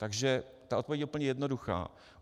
Takže ta odpověď je úplně jednoduchá.